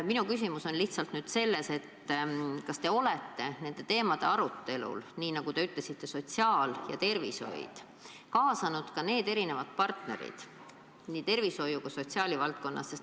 Minu küsimus on selles, kas te olete nende teemade arutelule, nii nagu te ütlesite, sotsiaal- ja tervishoiuteemade arutelule kaasanud partnerid nii tervishoiu- kui ka sotsiaalvaldkonnas.